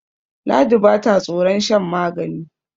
ladi ba ta tsoron shan magani